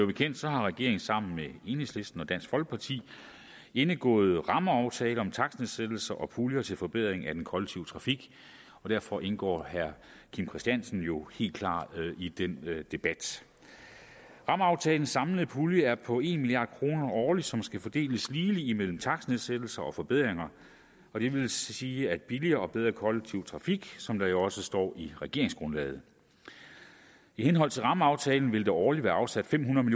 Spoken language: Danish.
bekendt har regeringen sammen med enhedslisten og dansk folkeparti indgået rammeaftale om takstnedsættelser og puljer til forbedring af den kollektive trafik og derfor indgår herre kim christiansens ord jo helt klart i den debat rammeaftalens samlede pulje er på en milliard kroner årligt som skal fordeles ligeligt mellem takstnedsættelser og forbedringer og det vil sige billigere og bedre kollektiv trafik som der jo også står i regeringsgrundlaget i henhold til rammeaftalen vil der årligt være afsat fem hundrede